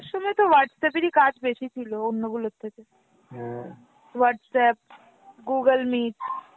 সময় তো Whatsapp এর কাজ বেশি ছিল অন্যগুলা থেকে, Whatsapp, Google meet।